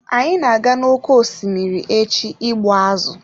Anyị na-aga n'oké osimiri echi ịgbu azụ̀.